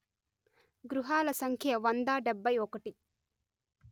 గృహాల సంఖ్య వంద డెబ్బై ఒకటి